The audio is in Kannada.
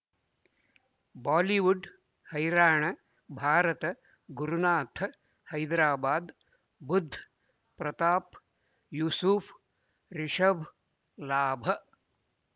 ಬಾಲಿವುಡ್ ಹೈರಾಣ ಭಾರತ ಗುರುನಾಥ ಹೈದರಾಬಾದ್ ಬುಧ್ ಪ್ರತಾಪ್ ಯೂಸುಫ್ ರಿಷಬ್ ಲಾಭ